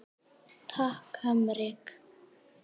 Takk Heimir.